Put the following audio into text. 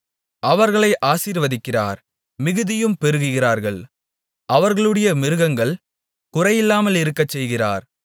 அவர்களை ஆசீர்வதிக்கிறார் மிகுதியும் பெருகுகிறார்கள் அவர்களுடைய மிருகங்கள் குறையாமலிருக்கச்செய்கிறார்